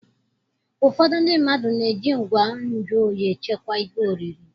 Ụfọdụ ndị mmadụ na-eji ngwa nju oyi echekwa ihe oriri.